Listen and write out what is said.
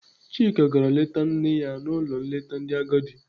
Chika gara leta nne ya n'ụlọ nleta ndị agadi.